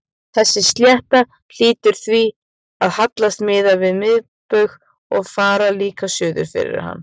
Þessi slétta hlýtur því að hallast miðað við miðbaug og fara líka suður fyrir hann.